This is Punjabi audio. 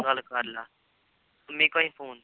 ਗੱਲ ਕਰ ਲਾ ਮੰਮੀ ਕੋਲ ਹੀ phone